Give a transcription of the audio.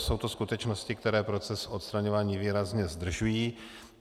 Jsou to skutečnosti, které proces odstraňování výrazně zdržují.